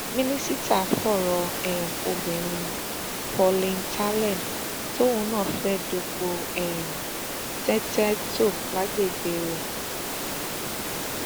ó tún pè um mí lọjọ kejì léraléra ṣùgbọn um mi ò gbé aago ẹ